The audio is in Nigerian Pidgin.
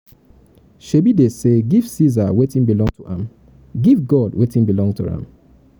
shebi dey say give ceasar wetin belong to am give god wetin belong to am.